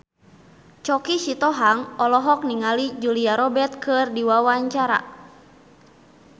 Choky Sitohang olohok ningali Julia Robert keur diwawancara